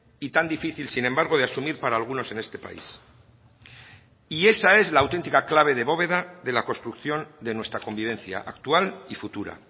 y tan difícil sin embargo de asumir para algunos en este país y esa es la auténtica clave de bóveda de la construcción de nuestra convivencia actual y futura